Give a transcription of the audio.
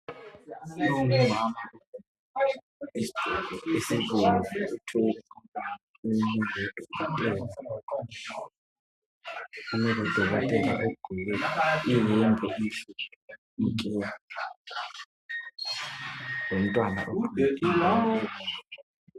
Umuntu ongumama olesigqoko esibomvu uthwele umntwana ogqoke okubomvu kumele udokotela ogqoke iyembe emhlophe nke lomntwana ugqoke okubomvu